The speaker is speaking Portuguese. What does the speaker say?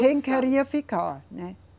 Quem queria ficar, né?